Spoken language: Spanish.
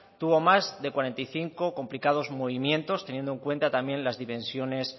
tuvo más de cuarenta y cinco complicados movimientos teniendo en cuenta también las dimensiones